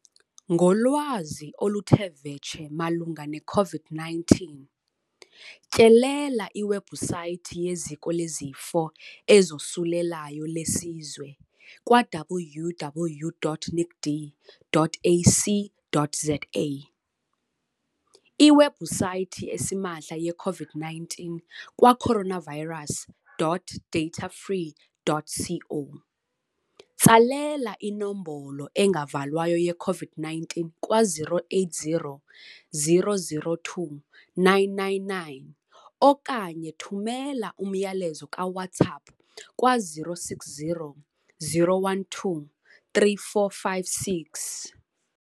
Ngolwazi oluthe vetshe malunga neCOVID-19, tyelela iwebhusaythi yeZiko leZifo ezoSulelayo leSizwe kwa-www.nicd.ac.za, iwebhusaythi esimahla yeCOVID-19 kwa-coronavirus.datafree.co, tsalela iNombolo engaValwayo yeCOVID-19 kwa-0800 029 999 okanye thumela umyalezo kaWhatsApp kwa-0600 12 3456.